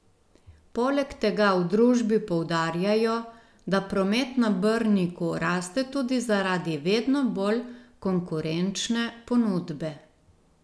Poleg tega v družbi poudarjajo, da promet na Brniku raste tudi zaradi vedno bolj konkurenčne ponudbe.